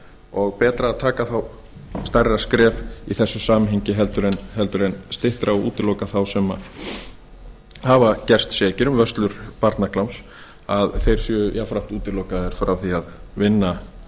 og betra að taka þá stærra skref í þessu samhengi en styttra og útiloka þá sem hafa gerst sekir um vörslu barnakláms að þeir séu jafnframt útilokaðir frá því að vinna